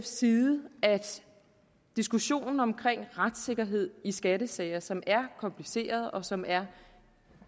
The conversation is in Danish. side at diskussionen om retssikkerhed i skattesager som er komplicerede og som er